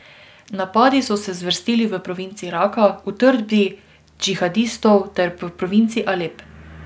Napadi so se zvrstili v provinci Raka, utrdbi džihadistov, ter v provinci Alep.